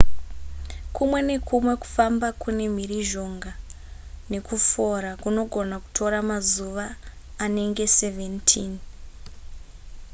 kumwe nekumwe kufamba kune mhirizhonga nekufora kunogona kutora mazuva anenge 17